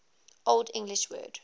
old english word